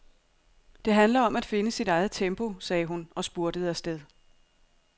Det handler om at finde sit eget tempo, sagde hun og spurtede afsted.